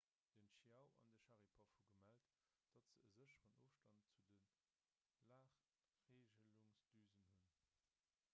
den chiao an de sharipov hu gemellt datt se e sécheren ofstand zu de lagreegelungsdüsen hunn